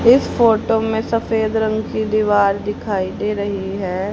इस फोटो में सफेद रंग की दीवार दिखाई दे रही है।